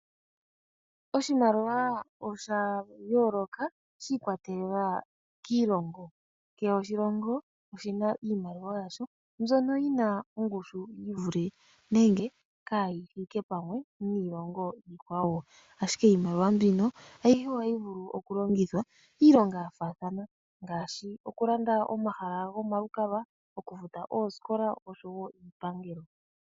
Oshimaliwa osha yooloka shi ikwatelela kiilongo. Kehe oshilongo oshi na iimaliwa yasho mbyono yi na ongushu yi vule nenge kaayi thike pamwe niilongo iikwawo. Ashike iimaliwa mbino ayihe ohayi vulu oku longithwa iilonga ya faathana ngaashi oku landa omahala gomalukalwa, oku futa oosikola, uundjugo niipangelo.